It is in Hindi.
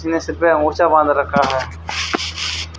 जिसने सिर पे ओढ़चा बांध रखा है।